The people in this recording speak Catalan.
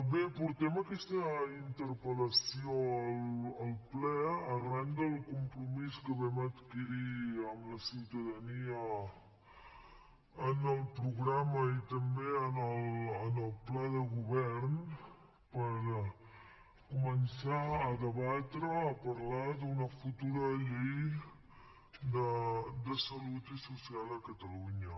bé portem aquesta interpel·lació al ple arran del compromís que vam adquirir amb la ciutadania en el programa i també en el pla de govern per començar a debatre a parlar d’una futura llei de salut i social a catalunya